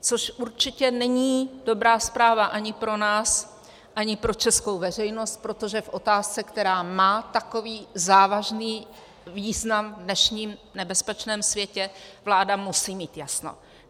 Což určitě není dobrá zpráva ani pro nás, ani pro českou veřejnost, protože v otázce, která má takový závažný význam v dnešním nebezpečném světě, vláda musí mít jasno.